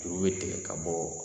Juru bɛ tigɛ ka bɔ